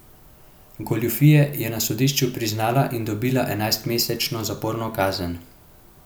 Goljufije je na sodišču priznala in dobila enajstmesečno zaporno kazen.